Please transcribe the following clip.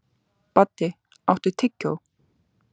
Baddi, áttu tyggjó?